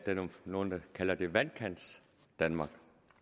nogle kalder det vandkantsdanmark